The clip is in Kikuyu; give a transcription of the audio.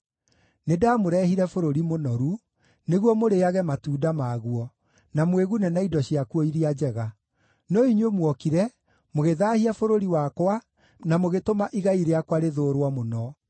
Nĩndamũrehire bũrũri mũnoru, nĩguo mũrĩĩage matunda maguo, na mwĩgune na indo ciakuo iria njega. No inyuĩ muokire, mũgĩthaahia bũrũri wakwa na mũgĩtũma igai rĩakwa rĩthũũrwo mũno.